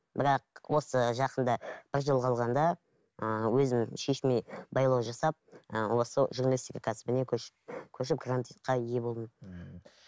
бірақ осы жақында бір жыл қалғанда ыыы өзім шешіміме байлау жасап ы осы журналистика кәсібіне көшіп көшіп грантқа ие болдым ммм